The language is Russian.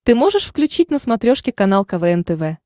ты можешь включить на смотрешке канал квн тв